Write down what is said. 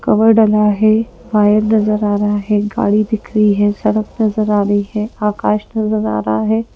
Cover डला है wire नजर आ रहा है गाड़ी दिख रही है सड़क नजर आ रही है आकाश नजर आ रहा है।